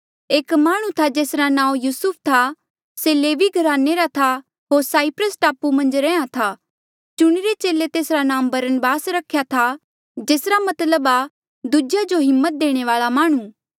एक माह्णुं था जेसरा नांऊँ यूसुफ था से लेवी घराने रा था होर साईप्रस टापू मन्झ रैंहयां था चुणिरे चेले तेसरा नांऊँ बरनबास रख्या था जेसरा मतलब आ दूजेया जो हिम्मत देणे वाल्आ माह्णुं